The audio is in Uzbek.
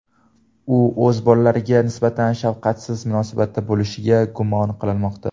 U o‘z bolalariga nisbatan shafqatsiz munosabatda bo‘lishda gumon qilinmoqda.